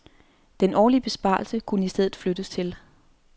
Den årlige besparelse kunne i stedet flyttes til